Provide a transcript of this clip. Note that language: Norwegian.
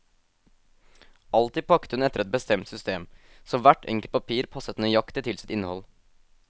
Alltid pakket hun etter et bestemt system, så hvert enkelt papir passet nøyaktig til sitt innhold.